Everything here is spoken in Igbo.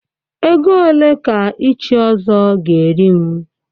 Ego ole ka ịchị Ọzọ ga-eri m.